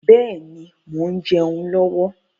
Bẹ́ẹ̀ni, mo ń jẹun lọ́wọ́.